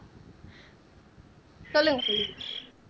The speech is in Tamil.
சொல்லுங்க